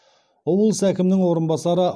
облыс әкімінің орынбасары